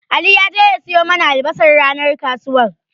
Ali ya je ya siyo mana albasar ranar kasuwar.